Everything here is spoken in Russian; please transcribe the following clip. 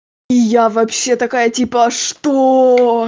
я вообще такая типа что